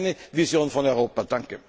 Das ist meine Vision von Europa.